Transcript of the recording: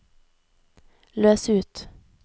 løs ut